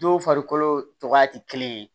Dɔw farikolo cogoya ti kelen ye